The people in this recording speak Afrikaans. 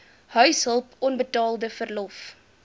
huishulp onbetaalde verlof